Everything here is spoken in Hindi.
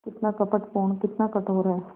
कितना कपटपूर्ण कितना कठोर है